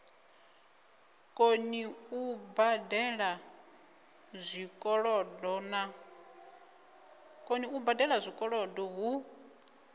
koni u badela zwikolodo hu